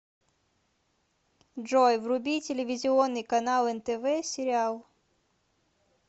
джой вруби телевизионный канал нтв сериал